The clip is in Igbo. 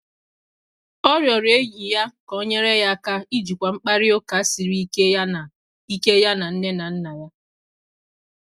Ọ rịọrọ enyi ya ka o nyere ya aka ijikwa mkparịta ụka siri ike ya na ike ya na nne na nna ya.